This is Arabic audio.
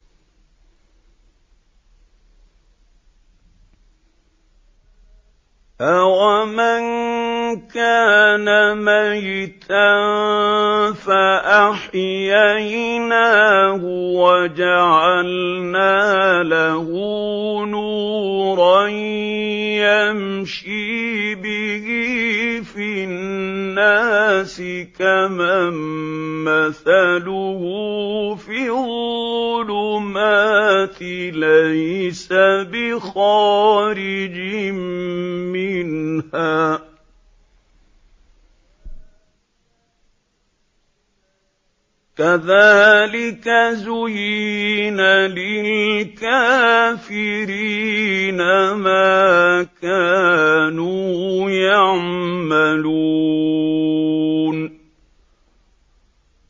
أَوَمَن كَانَ مَيْتًا فَأَحْيَيْنَاهُ وَجَعَلْنَا لَهُ نُورًا يَمْشِي بِهِ فِي النَّاسِ كَمَن مَّثَلُهُ فِي الظُّلُمَاتِ لَيْسَ بِخَارِجٍ مِّنْهَا ۚ كَذَٰلِكَ زُيِّنَ لِلْكَافِرِينَ مَا كَانُوا يَعْمَلُونَ